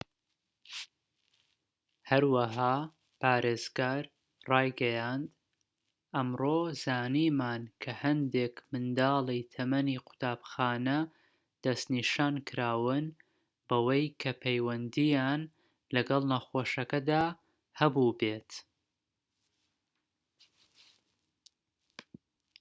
هەروەها پارێزگار ڕایگەیاند ئەمڕۆ زانیمان کە هەندێک منداڵی تەمەنی قوتابخانە دەسنیشانکراون بەوەی کە پەیوەندیان لەگەڵ نەخۆشەکەدا هەبوو بێت